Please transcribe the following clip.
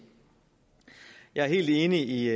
jeg er helt enig i